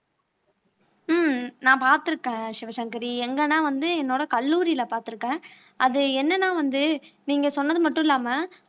உம் நான் பார்த்திருக்கேன் சிவசங்கரி எங்கன்னா வந்து என்னோட கல்லூரியிலே பார்த்திருக்கேன் அது என்னன்னா வந்து நீங்க சொன்னது மட்டும் இல்லாம